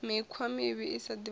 mikhwa mivhi i sa divhalei